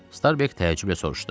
Starbeq təəccüblə soruşdu.